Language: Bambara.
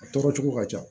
A tɔɔrɔ cogo ka ca